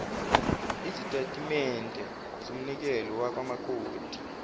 izitatimende zomnikelo wamakota